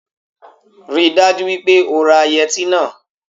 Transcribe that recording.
Rí i dájú wípé o ra yẹtí náà